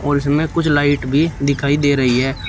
गुलशन में कुछ लाइट भी दिखाई दे रही है।